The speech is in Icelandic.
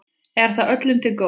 Er það öllum til góðs?